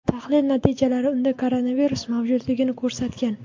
Tahlil natijalari unda koronavirus mavjudligini ko‘rsatgan.